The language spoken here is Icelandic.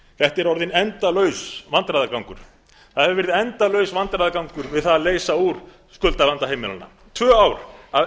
þetta er orðinn endalaus vandræðagangur það hefur verið endalaus vandræðagangur við það að leysa úr skuldavanda heimilanna tvö ár af